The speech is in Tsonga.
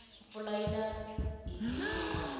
pfula yina hiti nguva